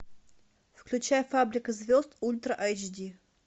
включай фабрика звезд ультра айч ди